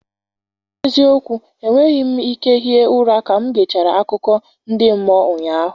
N'ezie okwu enweghị m ike hie ụra ka m gechara akụkọ ndị mmụọ ụnyaahụ